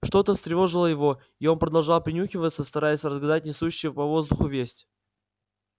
что то встревожило его и он продолжал принюхиваться стараясь разгадать несущуюся по воздуху весть